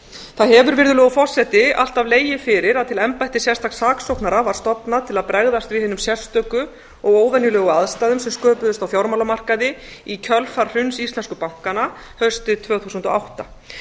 það hefur virðulegur forseti alltaf legið fyrir að til embættis sérstaks saksóknara var stofnað til að bregðast við hinum sérstöku og óvenjulegu aðstæðum sem sköpuðust á fjármálamarkaði í kjölfar hruns íslensku bankanna haustið tvö þúsund og átta